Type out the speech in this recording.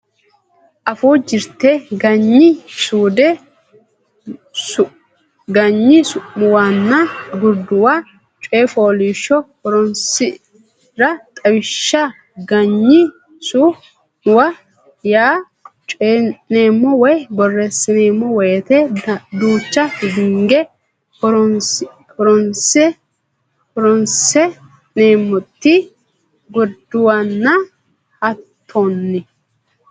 Afuu Jirte Ganyi Su muwanna Gurduwa Coy fooliishsho Horonsi ra Xawishsha Ganyi su muwa yaa coyi neemmo woy borreessineemmo woyte duucha hinge horonsi neemmote gurduwano hattonni.